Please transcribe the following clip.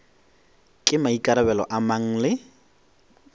ke maikarabelo a mang le